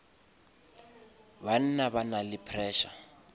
banna ba na le pressure